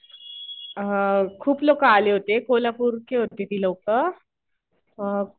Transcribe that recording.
खूप लोकं आले होते. कोल्हापूरचे होते ते लोकं.